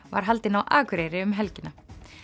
var haldin á Akureyri um helgina